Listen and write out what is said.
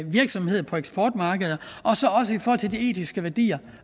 virksomhed på eksportmarkeder og i forhold til de etiske værdier